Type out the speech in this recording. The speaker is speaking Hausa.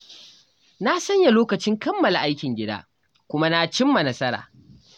Na sanya lokacin kammala aikin gida kuma na cimma nasara.